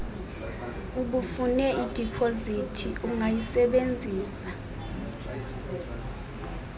ubufune idipozithi ungayisebenzisa